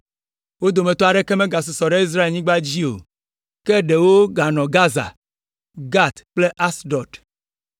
Wo dometɔ aɖeke megasusɔ ɖe Israelnyigba dzi o, ke ɖewo ganɔ Gaza, Gat kple Asdod.